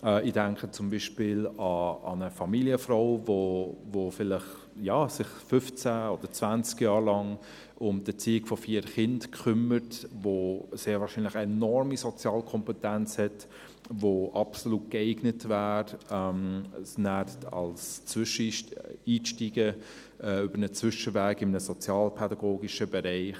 Ich denke zum Beispiel an eine Familienfrau, die sich vielleicht 15 oder 20 Jahre lang um die Erziehung von vier Kindern kümmert, die sehr wahrscheinlich enorme Sozialkompetenz hat, die absolut geeignet wäre, nachher einzusteigen über einen Zwischenweg in einem sozialpädagogischen Bereich.